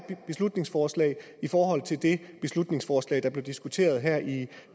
beslutningsforslag i forhold til det beslutningsforslag der blev diskuteret her i